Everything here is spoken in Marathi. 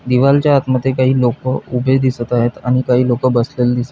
दीवार च्या आत मध्ये काही लोक उभे दिसत आहेत आणि काही लोक बसलेले दिस--